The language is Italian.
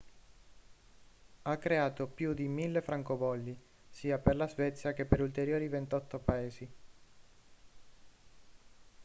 ha creato più di 1.000 francobolli sia per la svezia che per ulteriori 28 paesi